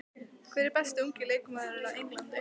Hver er besti ungi leikmaðurinn á Englandi?